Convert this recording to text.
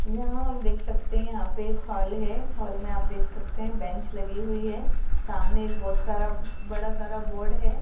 यहां हम देख सकते हैं यहाँ पे एक हॉल है हॉल में आप देख सकते हैं बेंच लगी हुई है सामने एक बहुत सारा बड़ा सारा बोर्ड है।